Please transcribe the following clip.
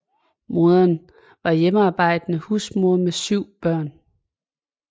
Moderen var hjemmearbejdende husmor med syv børn